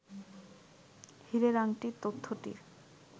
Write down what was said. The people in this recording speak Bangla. হীরের আংটি তথ্যটির